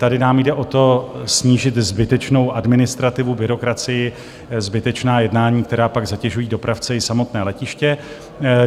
Tady nám jde o to, snížit zbytečnou administrativu, byrokracii, zbytečná jednání, která pak zatěžují dopravce i samotné letiště.